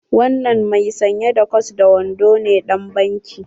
Wanan mai sanye da kwat da wando ne ɗan banki?